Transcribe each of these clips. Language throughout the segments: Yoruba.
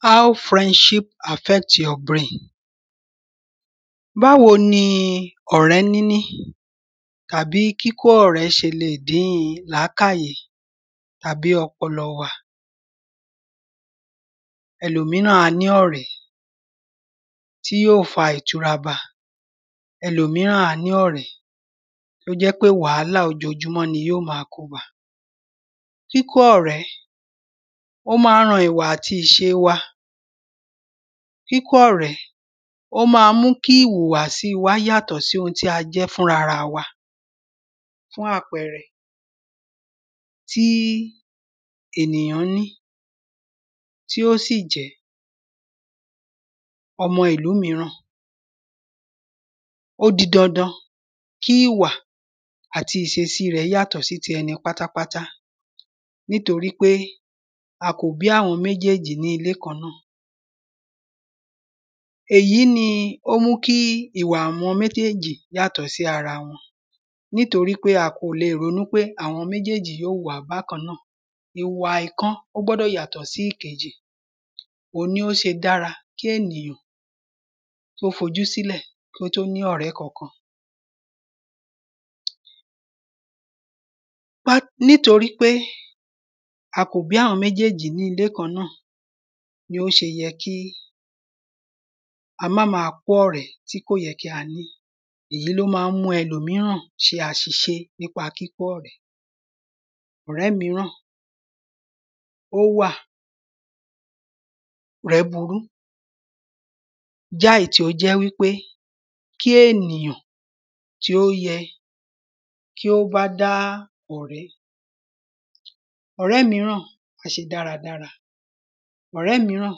How friendship affects your brain, báwo ni ọ̀rẹ́ níní tàbí kíkó ọ̀rẹ́ ṣe lè dín làkáàyè, tàbí ọpọlọ wa. Ẹlòmíràn á ní ọ̀rẹ́, tí yó fa ìtura ba. Ẹlòmíràn á ní ọ̀rẹ́, tí ó jẹ́ pé wàhálà ojojúmọ́ ni yó ma kó ba. Kíkó ọ̀rẹ́, ó ma ń ran ìwà àti ìṣe wa, kíkó ọ̀rẹ́, ó ma ń mú ki ìwùwà sí wa yàtọ̀ sí oun tí a jẹ́ fún ara wa. Fún àpẹrẹ, tí ènìyán ní, tí ó sì jẹ́ ọmọ ìlú míràn, ó di dandan, kí ìwà àti ìṣesí rẹ̀ yátọ̀ sí ìṣẹ́ tí ẹni pátápátá, nítorí pé a kò bí àwọn méjèjì ní ilé kan náà. Èyí ni ó mú kí ìwà àwọn méjèjì yàtọ̀ sí ara wọn, nítorí pé a kò le rọnú pé àwọn méjèjì yó wàá bákan náà, ìwà ìkan ó gbọdọ̀ yàtọ̀ sí ìkejì, òun ni ó ṣe dára fún ènìyàn, kó f’ojú sílẹ̀ kí ó tó ní ọ̀rẹ́ kankan. nítorí pé a kò bí àwọn méjèjì ní ilé kan náà, ni ó ṣe yẹ kí a má ma kó ọ̀rẹ́ tí kò yẹ kí a ní, èyí ló ma ń mú ẹlòmíràn ṣe àṣìṣe nípa kíkó ọ̀rẹ́. Ọ̀rẹ́ míràn, ó wà, ọ̀rẹ́ burú, jáì tí ó jẹ́ wípé, tí ènìyàn, tí ó yẹ, kí ó bá dá ọ̀rẹ́. Ọ̀rẹ́ míràn, á ṣe dára dára. Ọ̀rẹ́ míràn,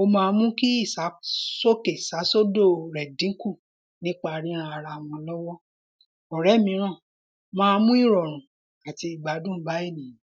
ó ma mú kí ìsásókè sásódò rẹ̀ dínkù nípà ríran ara wọn l’ọ́wọ́.Ọ̀rẹ́ míràn, ma mú ìrọ̀rùn àti ìgbádùn bá ènìyàn.